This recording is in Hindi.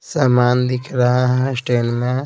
सामान दिख रहा है स्टैंड में--